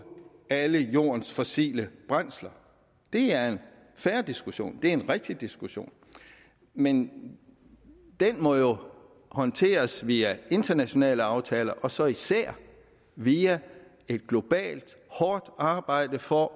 alle jordens fossile brændsler det er en fair diskussion det er en rigtig diskussion men den må jo håndteres via internationale aftaler og så især via et globalt hårdt arbejde for